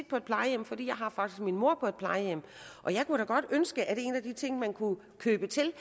på et plejehjem for jeg har faktisk min mor på et plejehjem og jeg kunne da godt ønske at en af de ting som man kunne købe til